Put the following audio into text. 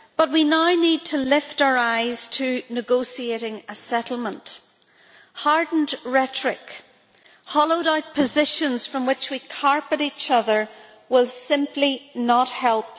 We now need to lift our eyes to negotiating a settlement. Hardened rhetoric and hollowed out positions, from which we carp at each other, will simply not help.